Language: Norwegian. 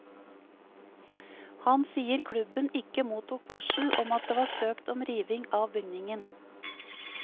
Han sier klubben ikke mottok varsel om at det var søkt om riving av bygningen.